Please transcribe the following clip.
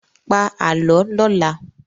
Pa Àlọ́ lọ́la!